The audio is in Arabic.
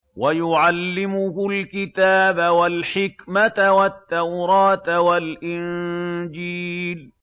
وَيُعَلِّمُهُ الْكِتَابَ وَالْحِكْمَةَ وَالتَّوْرَاةَ وَالْإِنجِيلَ